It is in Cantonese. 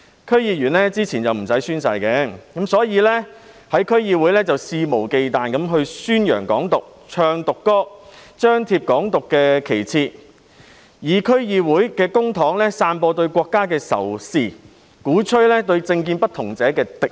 區議員之前無須宣誓，所以可在區議會肆無忌憚宣揚"港獨"，唱"獨歌"，張貼"港獨"旗幟，用區議會公帑散播對國家的仇視，鼓吹對政見不同者的敵意。